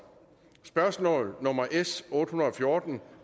spørgsmål nummer s otte hundrede og fjorten